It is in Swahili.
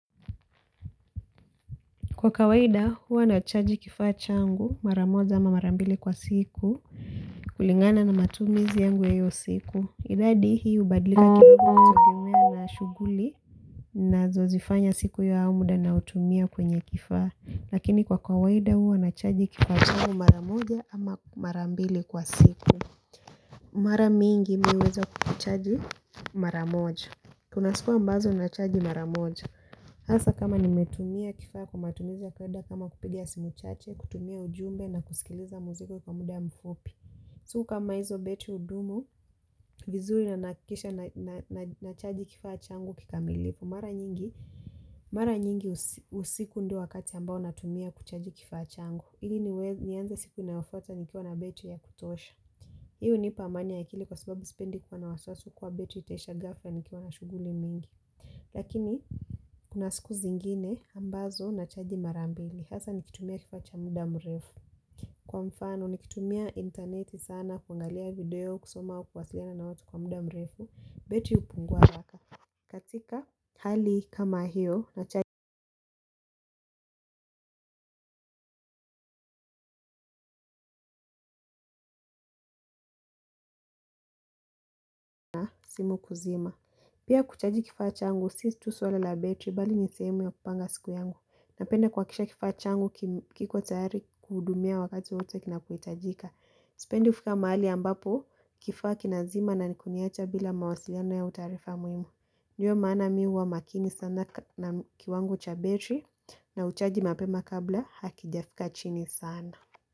Kwa kawaida huwa nachaji kifaa changu mara moja ama mara mbili kwa siku kulingana na matumizi yangu ya hiyo siku. Idadi hii hubadlika kidogo kutegemea na shughuli nazozifanya siku hiyo au muda naotumia kwenye kifaa. Lakini kwa kawaida huwa nachaji kifaa changu mara moja ama mara mbili kwa siku. Mara mingi mi huweza kuchaji mara moja. Kuna siku ambazo nachaji mara moja. Hasa kama nimetumia kifaa kwa matumizi ya kawaida kama kupiga simu chache, kutumia ujumbe na kusikiliza muziki kwa muda mfupi. Siku kama hizo betri hudumu, vizuri na nahakikisha nachaji kifaa changu kikamilifu. Mara nyingi, mara nyingi usiku ndio wakati ambao natumia kuchaji kifaa changu. Ili niweze nianze siku inayofuata nikiwa na betri ya kutosha. Hii hunipa amani ya akili kwa sababu sipendi kuwa na wasiwasi kuwa betri itaisha ghafla nikiwa na shughuli mingi. Lakini kuna siku zingine ambazo nachaji mara mbili hasa nikitumia kifaa cha muda mrefu. Kwa mfano nikitumia interneti sana kuangalia video, kusoma au kuwasiliana na watu kwa muda mrefu, betri hupungua haraka. Katika hali kama hiyo nachaji simu kuzima. Pia kuchaji kifaa changu. Sisi tu swala la battery bali ni sehemu ya kupanga siku yangu. Napenda kuhakikisha kifaa changu kiko tayari kuhudumia wakati wowote kinapohitajika. Sipendi kufika mahali ambapo kifaa kinazima na kuniacha bila mawasilano au taarifa muhimu. Ndio maana mi huwa makini sana na kiwango cha battery na huchaji mapema kabla hakijafika chini sana.